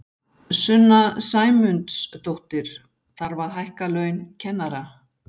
Sunna Sæmundsdóttir: Þarf að hækka laun kennara?